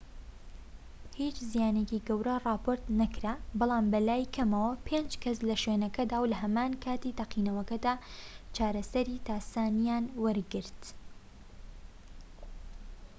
هیچ زیانێکی گەورە راپۆرت نەکرا بەڵام بەلای کەمەوە پێنج کەس لە شوێنەکەدا و لە هەمان کاتی تەقینەوەکەدا چارەسەری تاسانیان وەرگرت